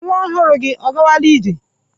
Nwa ọhụrụ gị ọ gawala ije?.